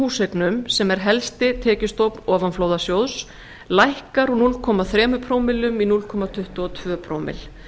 húseignum sem er helsti tekjustofn ofanflóðasjóðs lækkar úr núll komma þrjú prómillum í núll komma tuttugu og tvö prómill